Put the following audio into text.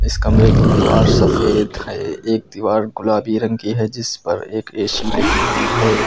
इस कमरे की दीवार सफेद है एक दीवार गुलाबी रंग की है जिस पर एक ए_सी लगी हुई है।